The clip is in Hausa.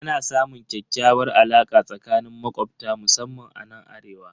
Ana samun ƙyakkyawar alaka tsakanin makobta musamman anan arewa.